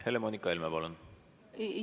Helle-Moonika Helme, palun!